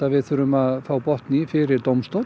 við þurfum að fá botn í fyrir dómstól